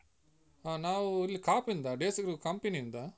ಹಾ ನಾವು ಇಲ್ಲಿ ಕಾಪುವಿಂದ, Desicrew company ಯಿಂದ.